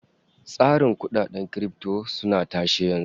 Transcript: Tsarin kudaden kirifto suna tashe yanzu